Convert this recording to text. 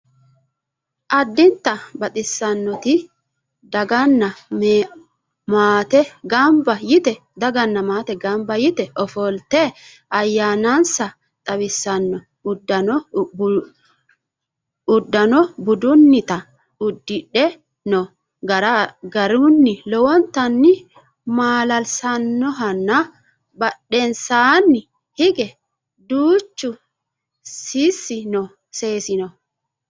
addinta baxissannoti daganna maate ganba yite ofolte ayeemmase xawissanno uddano budunnita uddidhe noo garai lowontanni maala'lisannohonna badhensaanni hige duuchu sicci no